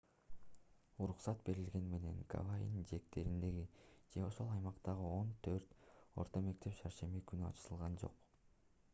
уруксат берилгени менен гавайинин жээктериндеги же ошол аймактагы он төрт орто мектеп шаршемби күнү ачылган жок